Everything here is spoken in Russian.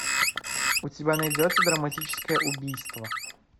у тебя найдется драматическое убийство